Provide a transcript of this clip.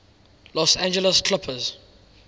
los angeles clippers